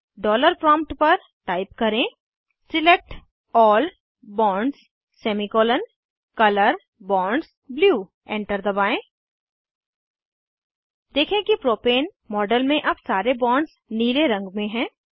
dollar prompt पर type करें select all bonds semicolon colour bonds blue select all bonds semicolon colour bonds blue enter दबाएं देखें कि propane model में अब सारे बॉन्ड्स नीले रंग में हैं